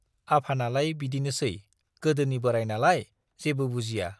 आफानालाय बिदिनोसै, गोदोनि बोराइनालाय, जेबो बुजिया।